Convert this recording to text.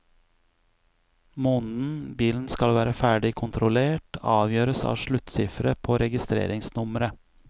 Måneden bilen skal være ferdig kontrollert, avgjøres av sluttsifferet på registreringsnummeret.